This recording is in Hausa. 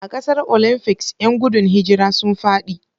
A gasar Olymfics, 'yan gudun hijira sun fadi.